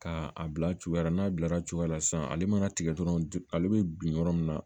Ka a bila cogoya la n'a bilara cogoya la sisan ale mana tigɛ dɔrɔn ale bɛ bin yɔrɔ min na